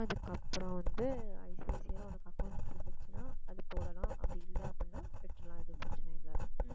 அதுக்கப்புறம் வந்து ஐசிஐசிஐல உனக்கு account இருந்துச்சுன்னா அது போடலாம் அப்படி இல்லை அப்படின்னா விட்டுடலாம் எதுவும் பிரச்சனை இல்லை